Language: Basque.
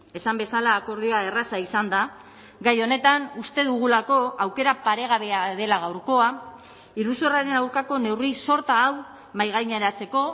esan bezala akordioa erraza izan da gai honetan uste dugulako aukera paregabea dela gaurkoa iruzurraren aurkako neurri sorta hau mahaigaineratzeko